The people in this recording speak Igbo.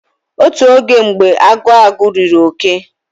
Otu oge mgbe agu agu riri oke